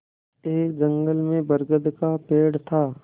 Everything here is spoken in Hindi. एक जंगल में बरगद का पेड़ था